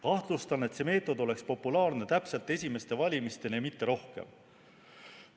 Kahtlustan, et see meetod oleks populaarne täpselt esimeste valimisteni ja mitte kauem.